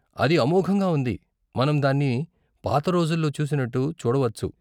అది అమోఘంగా ఉంది, మనం దాన్ని పాత రోజుల్లో చూసినట్టు చూడవచ్చు.